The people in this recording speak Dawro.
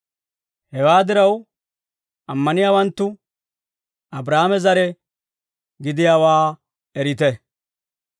Hewaa diraw, ammaniyaawanttu Abraahaame zare gidiyaawaa erite.